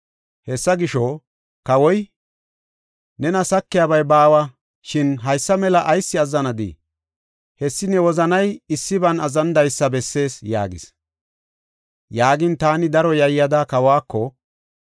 Hessa gisho, kawoy, “Nena sakiyabay baawa, shin haysa mela ayis azzanadii? Hessi ne wozanay issiban azzanidaysa bessees” yaagis. Yaagin, taani daro yayyada, kawako,